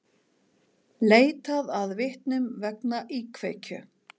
Leitað að vitnum vegna íkveikju